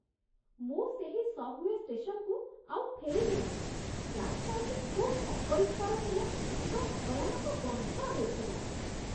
ମୁଁ ସେହି ସବ୍‌ୱେ ଷ୍ଟେସନକୁ ଆଉ ଫେରିବି ନାହିଁ। ପ୍ଲାଟଫର୍ମଟି ଖୁବ୍ ଅପରିଷ୍କାର ଥିଲା ଏବଂ ଭୟାନକ ଗନ୍ଧ ହେଉଥିଲା।